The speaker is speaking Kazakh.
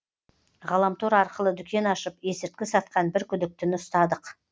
ғаламтор арқылы дүкен ашып есірткі сатқан бір күдіктіні ұстадық